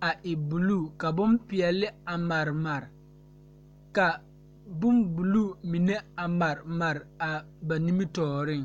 a e buluu ka bompeɛle a maremare ka bombuluu mine a maremare ba nimitɔɔreŋ.